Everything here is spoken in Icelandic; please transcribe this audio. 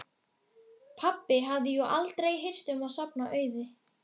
Pabbi hafði jú aldrei hirt um að safna auði.